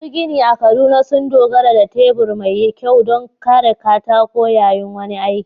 Masu ginin a Kaduna sun dogara da tebur mai kyau don kare katako yayin wani aiki.